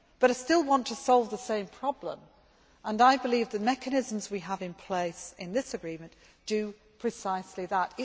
But I still want to solve the same problem, and I believe the mechanisms we have in place in this agreement do precisely that.